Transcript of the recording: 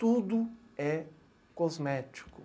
Tudo é cosmético.